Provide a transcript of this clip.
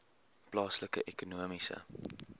plaaslike ekonomiese